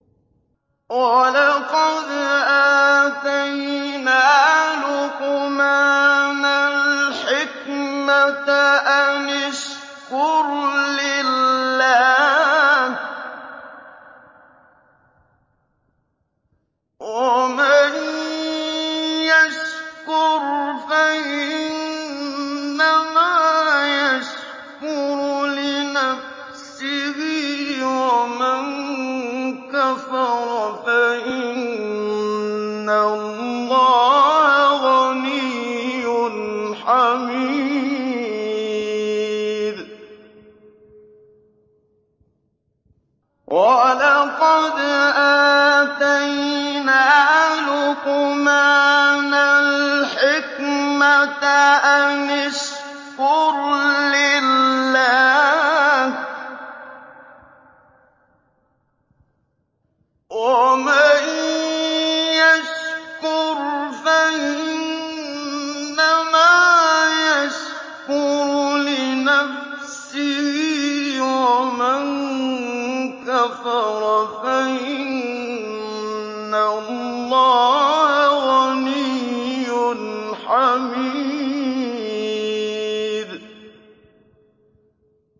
وَلَقَدْ آتَيْنَا لُقْمَانَ الْحِكْمَةَ أَنِ اشْكُرْ لِلَّهِ ۚ وَمَن يَشْكُرْ فَإِنَّمَا يَشْكُرُ لِنَفْسِهِ ۖ وَمَن كَفَرَ فَإِنَّ اللَّهَ غَنِيٌّ حَمِيدٌ